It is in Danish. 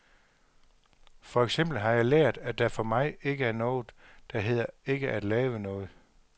For eksempel har jeg lært, at der for mig ikke er noget, der hedder ikke at lave noget.